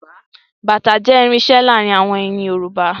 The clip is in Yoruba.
Bàtá jẹ́ irinṣẹ́ láàárín àwọn ènìyàn Yorùbá